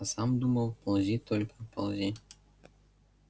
а сам думал ползи только ползи